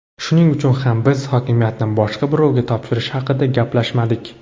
Shuning uchun ham biz hokimiyatni boshqa birovga topshirish haqida gaplashmadik.